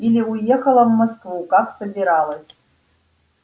или уехала в москву как собиралась